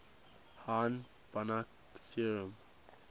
hahn banach theorem